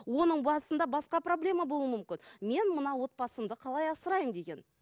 оның басында басқа проблема болуы мүмкін мен мына отбасымды қалай асыраймын деген